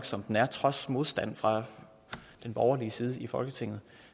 som den er trods modstand fra den borgerlige side i folketinget